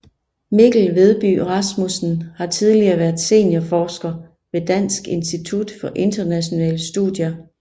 Mikkel Vedby Rasmussen har tidligere været seniorforsker ved Dansk Institut for Internationale Studier